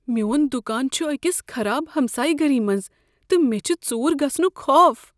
میٛون دکان چھ أکس خراب ہمسایہ گری منٛز تہٕ مےٚ چھ ژوٗر گژھنُک خوف۔